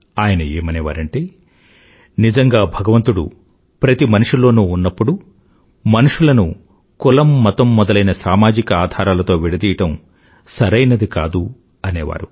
అయన ఏమనేవారంటే నిజంగా భగవంతుడు ప్రతి మనిషిలోనూ ఉన్నప్పుడు మనుషులను కులం మతం మొదలైన సామాజిక ఆధారాలతో విడదీయడం సరైనది కాదు అనేవారు